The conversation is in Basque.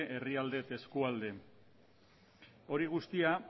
herrialde eta eskualde hori guztia